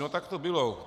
No tak to bylo.